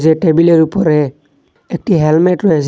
এ টেবিলের উপরে একটি হ্যালমেট রয়েসে।